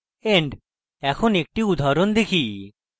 end এখন একটি উদাহরণ দেখি